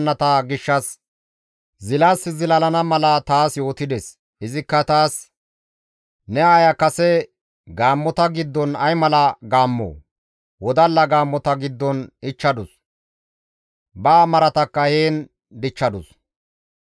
izikka taas, « ‹Ne aaya kase gaammota giddon ay mala gaammoo! Wodalla gaammota giddon ichchadus; ba maratakka heen dichchadus.